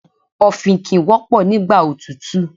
Ọ̀fìnkìn wọ́pọ̀ nígbà òtútù.